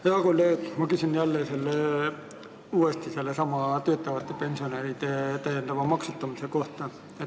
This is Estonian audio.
Hea kolleeg, ma küsin uuesti sellesama töötavate pensionäride täiendava maksustamise kohta.